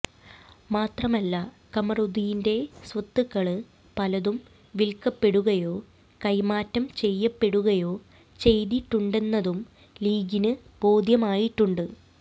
മാത്രമല്ല കമറുദ്ദീന്റെ സ്വത്തുക്കള് പലതും വില്ക്കപ്പെടുകയോ കൈമാറ്റം ചെയ്യപ്പെടുകയോ ചെയ്തിട്ടുണ്ടെന്നതും ലീഗിന് ബോധ്യമായിട്ടുണ്ട്